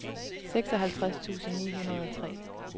seksoghalvtreds tusind ni hundrede og tre